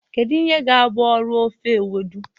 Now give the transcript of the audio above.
Kedu ihe ga-abụ ọrụ ofe Ewedu?